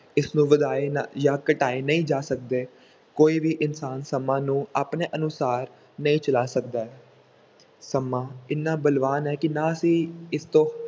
ਇਸ ਨੂੰ ਵਧਾਏ ਨਾ ਜਾਂ ਘਟਾਏ ਨਹੀਂ ਜਾ ਸਕਦੇ ਕੋਈ ਵੀ ਇਨਸਾਨ ਸਮਾਂ ਨੂੰ ਆਪਣੇ ਅਨੁਸਾਰ ਨਹੀਂ ਚਲਾ ਸਕਦਾ ਹੈ ਸਮਾਂ ਇੰਨਾ ਬਲਵਾਨ ਹੈ ਕਿ ਨਾ ਅਸੀਂ ਇਸ ਤੋਂ